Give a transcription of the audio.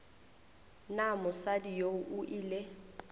na mosadi yoo o ile